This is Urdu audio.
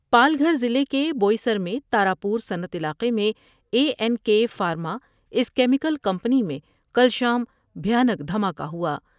پال گھر ضلع کے بوئی سر میں تارا پورصنعت علاقے میں اے این کے فارم اس کیمیکل کمپنی میں کل شام بھیا نک دھما کہ ہوا ۔